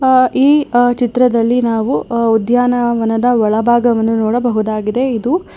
ಆ ಈ ಚಿತ್ರದಲ್ಲಿ ನಾವು ಉದ್ಯಾನವನದ ಒಳಭಾಗವನ್ನು ನೋಡಬಹುದಾಗಿದೆ ಇದು--